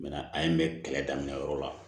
an ye n bɛ kɛlɛ daminɛ yɔrɔ la